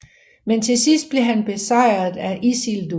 Men til sidst blev han besejret af Isildur